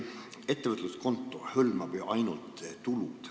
Ettevõtluskonto hõlmab ju ainult tulusid.